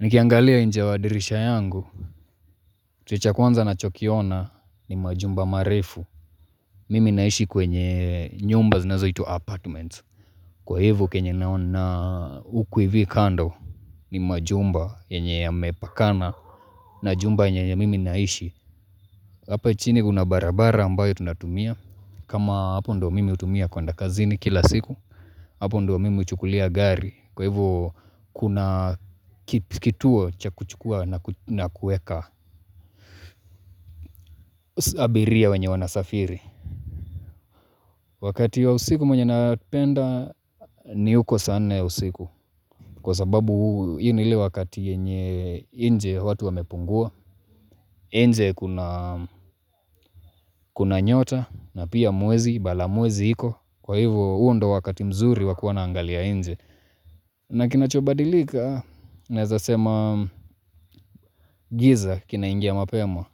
Nikiangalia inje ya dirisha yangu kitu cha kwanza ninachokiona ni majumba marefu Mimi naishi kwenye nyumba zinazoitwa apartments kwa hivyo kenye naona na huku hivi kando ni majumba yenye yamepakana na jumba yenye ya mimi naishi Hapa chini kuna barabara ambayo tunatumia kama hapo ndio mimi hutumia kuenda kazini kila siku Hapo ndio mimi huchukulia gari kwa hivyo kuna ki kituo cha kuchukua na kueka abiria wenye wanasafiri wakati wa usiku mwenye napenda ni huko saa nne ya usiku kwa sababu hii ni ile wakati yenye inje watu wamepungua inje kuna kuna nyota na pia mwezi, mbala mwezi iko kwa hivyo, huo ndo wakati mzuri wakuwa naangalia inje na kinachobadilika naweza sema giza kinaingia mapema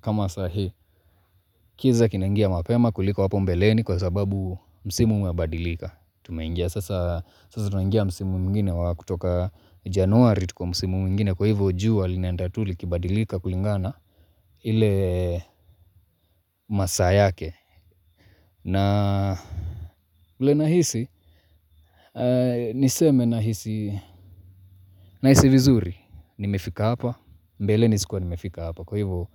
kama sai giza kinaingia mapema kuliko hapo mbeleni kwa sababu msimu umebadilika tumeingia sasa tunangia msimu mwingine wa kutoka Januari tuko msimu mwingine kwa hivyo jua linaenda tu likibadilika kulingana ile masaa yake na vile nahisi niseme nahisi vizuri nimefika hapa mbeleni sikuwa nimefika hapa kwa hivyo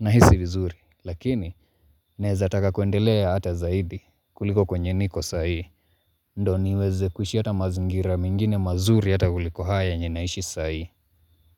nahisi vizuri lakini, naweza taka kuendelea ata zaidi, kuliko kwenye niko sai Ndio niweze kuishi ata mazingira mengine mazuri ata kuliko haya yenye naishi sai.